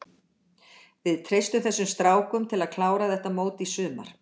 Við treystum þessum strákum til að klára þetta mót í sumar.